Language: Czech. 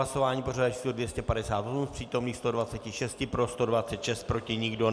Hlasování pořadové číslo 258, z přítomných 126 pro 126, proti nikdo.